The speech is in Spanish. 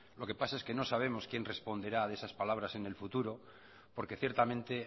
lo que pasa es que no sabemos quién responderá de esas palabras en el futuro porque ciertamente